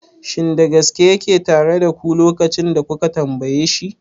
Shin da gaske yake tare da ku lokacin da kuka tambaye shi?